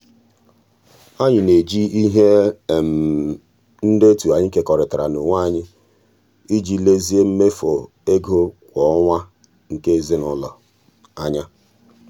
anyị na-eji ihe ndetu anyị kekọrịtara n'onwe anyị iji lezie mmefu ego kwa ọnwa nke ezinụụlọ anya.